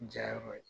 Ja yɔrɔ ye